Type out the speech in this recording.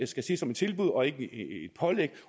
skal ses som et tilbud og ikke et pålæg